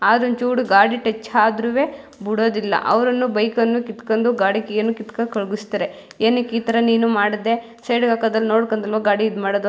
ಅದ್ರ್ ಒಂಚೂರು ಗಾಡಿ ಟಚ್ ಅದ್ರುವೇ ಬಿಡೋದಿಲ್ಲ ಅವರನ್ನು ಬೈಕ್ ಅನ್ನು ಕೀಥ್ಕೊಂಡು ಗಾಡಿ ಕೀ ಅನ್ನು ಕೀಥ್ಕೊಂಡು ಕಾರ್ಗಿಸ್ತಾರೆ ಏನಕ್ಕ್ ನೀ ನು ಮಾಡಿದೆ ಸೈಡಿಗ್ ಹಾಕೋದ್ ನೋಡ್ಕೊಂಡ್ ಅಲ್ವಾ ಗಾಡಿ ಇದ್ ಮಾಡೋದು.